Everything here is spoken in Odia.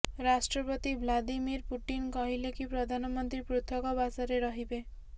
ରାଷ୍ଟ୍ରପତି ଭ୍ଲାଦିମିର ପୁଟିନ କହିଲେକି ପ୍ରଧାନମନ୍ତ୍ରୀ ପୃଥକ ବାସରେ ରହିବେ